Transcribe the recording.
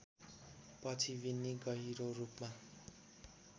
पछि विन्नी गहिरोरूपमा